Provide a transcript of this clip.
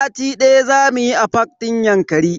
Sati daya zamu yi a fak din Yankari.